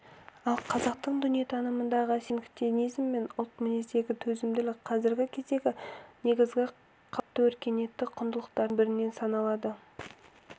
ал қазақтың дүниетанымындағы синкретизм мен ұлттық мінезіндегі төзімділік қазіргі кездері негізгі қалыпты өркениеттік кұндылықтардың бірінен саналады